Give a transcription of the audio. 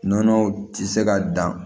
Nɔnɔw tɛ se ka dan